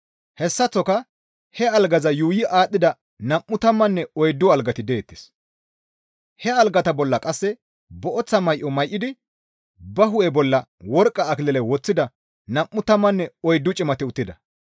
Hessaththoka he algaza yuuyi aadhdhida nam7u tammanne oyddu algati deettes; he algata bolla qasse booththa may7o may7idi ba hu7e bolla worqqa akilile woththida nam7u tammanne oyddu cimati uttida.